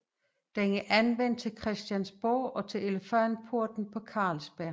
Den er anvendt til Christiansborg og til Elefantporten på Carlsberg